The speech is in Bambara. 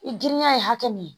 I girinya ye hakɛ min ye